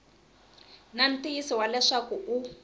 na ntiyiso wa leswaku u